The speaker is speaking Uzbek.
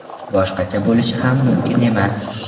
Boshqacha bo‘lishi ham mumkin emas!